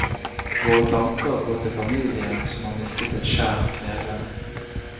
Våre tanker går til familien, som har mistet et kjært medlem.